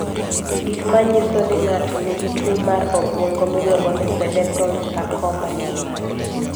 Gik manyiso ni ng'ato nigi tuwo mar obwongo miluongo ni Cerebral sarcoma gin mage?